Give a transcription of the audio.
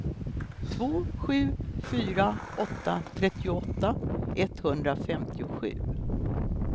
två sju fyra åtta trettioåtta etthundrafemtiosju